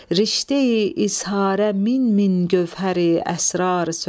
rişteyi izharə min-min gövhəri əsrar söz.